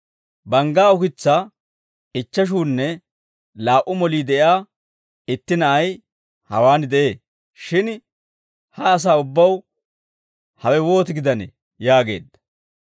«Banggaa ukitsaa ichcheshuunne laa"u molii de'iyaa itti na'ay hawaan de'ee; shin ha asaa ubbaw hewe wooti gidanee?» yaageedda.